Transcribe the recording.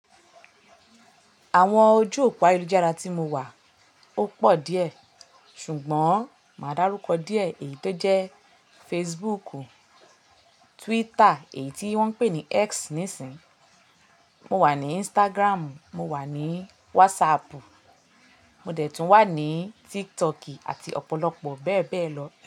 Àwọn ojú òpó ayélujára tí mo wà ó pọ̀ díẹ̀, ṣùgbọ́n máa dárúkọ díẹ̀ èyí tó jẹ́ Facebook, Twitter èyí tí wọ́n ń pè ní X nísìínyi, mo wà ní Instagram, mo wà ní WhatsApp, mo dẹ̀ tún wà ní TikTok àti ọ̀pọ̀lọpọ̀ bẹ́ẹ̀ bẹ́ẹ̀ lọ.